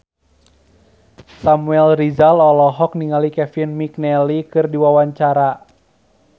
Samuel Rizal olohok ningali Kevin McNally keur diwawancara